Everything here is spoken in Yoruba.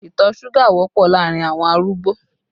Ìtọ̀ suga wọ́pọ̀ láàrin awọn arúgbó